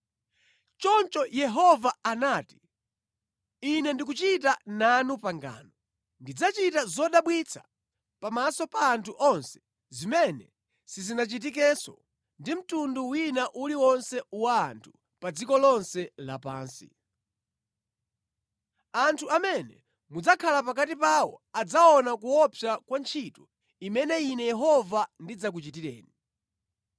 Choncho Yehova anati: “Ine ndikuchita nanu pangano. Ndidzachita zodabwitsa pamaso pa anthu onse zimene sizinachitikenso ndi mtundu wina uliwonse wa anthu pa dziko lonse lapansi. Anthu amene mudzakhala pakati pawo adzaona kuopsa kwa ntchito imene Ine Yehova ndidzakuchitireni.